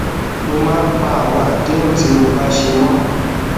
mo máa ń pa àwọn àdéhùn tí mo bá ṣe mó